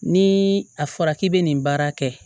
Ni a fɔra k'i bɛ nin baara kɛ